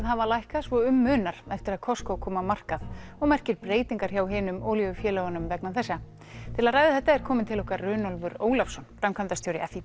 hafa lækkað svo um munar eftir að Costco kom á markað og merkir breytingar hjá hinum olíufélögunum vegna þess til að ræða þetta er kominn til okkar Runólfur Ólafsson framkvæmdastjóri